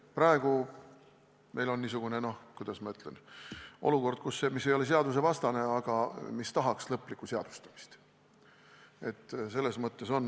Praegu meil on niisugune olukord, mis ei ole küll seadusevastane, aga tahaks siiski lõplikku seadustamist.